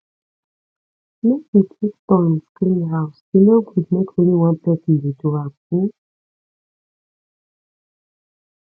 make we take turns clean house e no good make only one person dey do am um